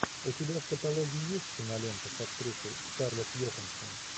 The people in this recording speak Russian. у тебя в каталоге есть кинолента с актрисой скарлетт йоханссон